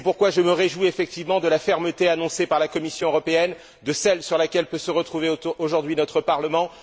C'est pourquoi je me réjouis effectivement de la fermeté annoncée par la Commission européenne, de celle sur laquelle peut se retrouver aujourd'hui notre Parlement.